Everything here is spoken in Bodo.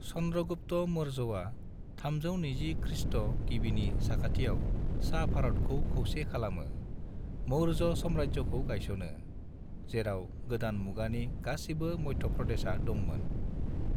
चन्द्र'गुप्त मौर्यआ 320 खृ. गिबिनि साखाथियाव सा भारतखौ खौसे खालामो, मौर्य साम्रायजोखौ गायस'नो, जेराव गोदान मुगानि गासिबो मध्य प्रदेशआ दंमोन।